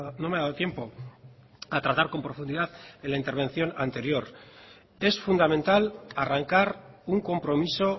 no me ha dado tiempo a tratar con profundidad en la intervención anterior es fundamental arrancar un compromiso